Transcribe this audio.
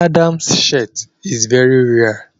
Adamu's shirit is very rare